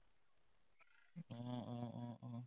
অ অ অ অ